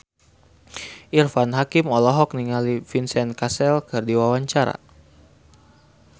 Irfan Hakim olohok ningali Vincent Cassel keur diwawancara